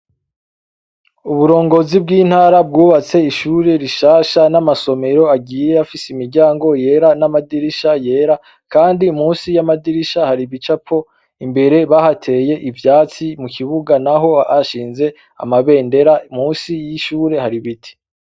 Uburongozi bwi ntara bwubatse ishure rishasha namasomero agiye afise imiryango yera namadirisha yera kandi munsi yamadirisha hari ibicapo imbere bahateye ivyatsi mukibuga naho bahashinze amabendera munsi yishure hari ibiti